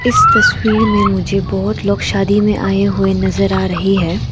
इस तस्वीर में मुझे बहुत लोग शादी में आए हुए नजर आ रही है।